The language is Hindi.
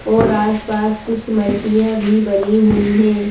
और आसपास कुछ मल्टियाँ भी बनी हुई हैं।